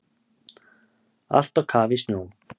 Allt á kafi í snjó